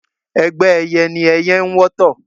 Ẹgbẹ́ ẹyẹ ní ẹyẹ ń wọ́tọ̀